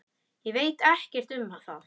Ég veit ekkert um það.